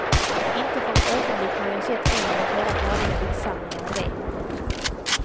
Inte för ett ögonblick har jag sett en eller flera färdiga diktsamlingar i det. punkt